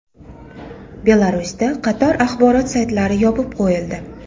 Belarusda qator axborot saytlari yopib qo‘yildi.